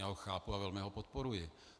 Já ho chápu a velmi ho podporuji.